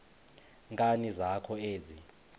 nkani zakho ezi